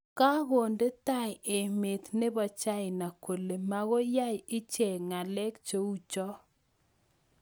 Kakonde tai emeet nepo chaina kolee makoi yai Icheek ng'aleek cheu choo